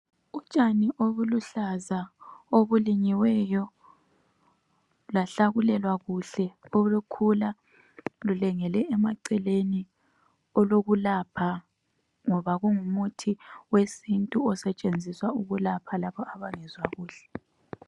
Utshani obuluhlaza obulinyiweyo, bahlakulelwa kuhle obukhula bulengele emaceleni, olokulapha ngoba lungumuthi owesintu osetshenziswa ukulapha abangenzwa kuhle.